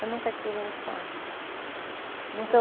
Eu nunca tive infância. Nunca eu